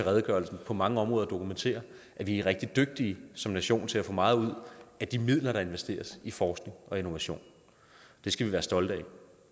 redegørelsen på mange områder dokumenterer at vi er rigtig dygtige som nation til at få meget ud af de midler der investeres i forskning og innovation det skal vi være stolte af